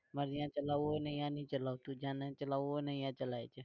પર જ્યાં ચાલવું હોય ને ત્યાં નહિ ચલાવતું જ્યાં નહિ ચલાવું હોય ને ત્યાં ચલાવે છે.